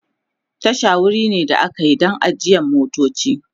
Tasha wuri ne da akayi Dan ajiyan motoci